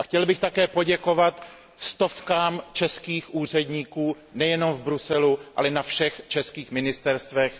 A chtěl bych také poděkovat stovkám českých úředníků nejenom v Bruselu, ale na všech českých ministerstvech.